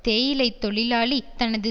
தேயிலை தொழிலாளி தனது